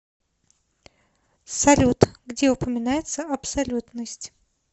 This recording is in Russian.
салют где упоминается абсолютность